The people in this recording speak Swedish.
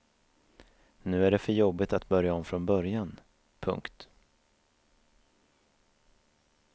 Nu är det för jobbigt att börja om från början. punkt